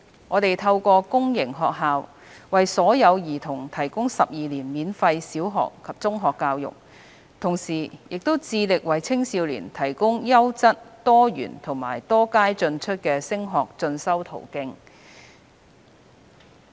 我們透過公營學校為所有兒童提供12年免費小學及中學教育，同時致力為青少年提供優質、多元及多階進出的升學進修途徑。